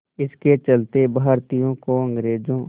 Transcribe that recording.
इसके चलते भारतीयों को अंग्रेज़ों